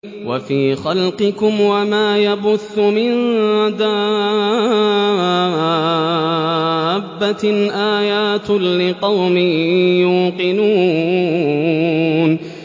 وَفِي خَلْقِكُمْ وَمَا يَبُثُّ مِن دَابَّةٍ آيَاتٌ لِّقَوْمٍ يُوقِنُونَ